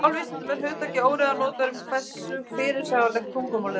Í málvísindum er hugtakið óreiða notað um það hversu fyrirsjáanlegt tungumálið er.